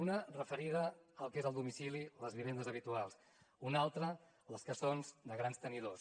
una referida al que és el domicili les vivendes habituals una altra les que són de grans tenidors